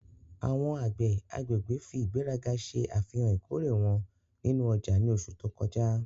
Awọn agbẹ agbegbe fi igberaga ṣe afihan ikore wọn ninu ọja ni oṣu to kọja